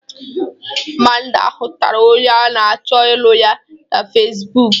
Amanda hụtara onye a na-achọ ịlụ ya na fesbụk.